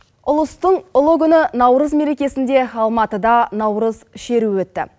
ұлыстың ұлы күні наурыз мерекесінде алматыда наурыз шеруі өтті